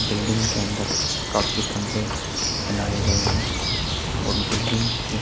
building के अंदर काफी कमरे बनाये गए है और बिल्डिंग के --